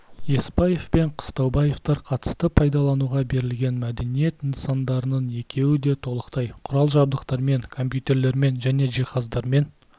есбаев пен қыстаубаевтар қатысты пайдалануға берілген мәдениет нысандарының екеуі де толықтай құрал-жабдықтармен компьютерлермен және жиһаздармен